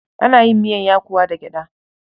Ana yin miyar yakuwa da gyaɗa.